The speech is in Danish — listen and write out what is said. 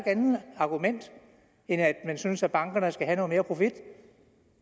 andet argument end at man synes at bankerne skal have noget mere profit